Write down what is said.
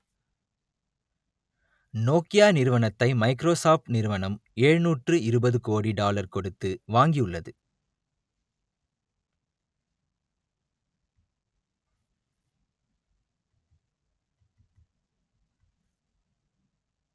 Nokia நிறுவனத்தை Microsoft நிறுவனம் எழுநூற்று இருபது கோடி டாலர் கொடுத்து வாங்கியிருந்தது